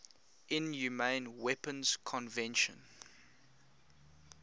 inhumane weapons convention